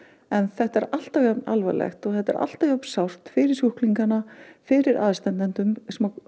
en þetta er alltaf jafn alvarlegt og þetta er alltaf jafn sárt fyrir sjúklingana fyrir aðstandendur